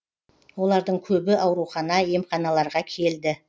олардың көбі аурухана емханаларға келді